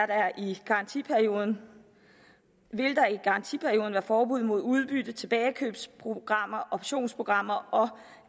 der i garantiperioden garantiperioden være forbud mod udbytte tilbagekøbsprogrammer og optionsprogrammer og